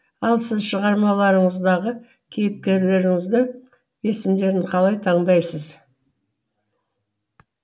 ал сіз шығармаларыңыздағы кейіпкеріңізді есімдерін қалай таңдайсыз